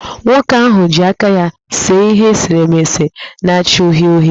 Nwoke ahụ ji aka ya see ihe eserese na-acha uhie uhie